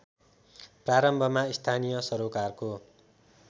प्रारम्भमा स्थानीय सरोकारको